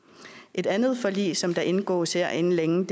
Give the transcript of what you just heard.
et andet forlig som der indgås her inden længe